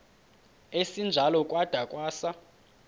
esinjalo kwada kwasa